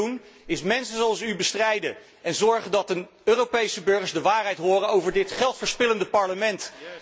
Wat wij hier doen, is mensen zoals u bestrijden en zorgen dat de Europese burgers de waarheid horen over dit geldverspillende Parlement.